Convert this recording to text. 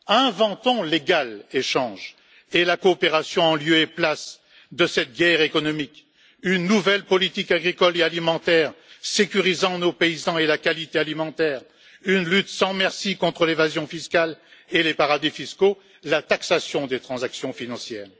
Inventons l'égal échange et la coopération en lieu et place de cette guerre économique, une nouvelle politique agricole et alimentaire sécurisant nos paysans et la qualité alimentaire, une lutte sans merci contre l'évasion fiscale et les paradis fiscaux, et la taxation des transactions financières.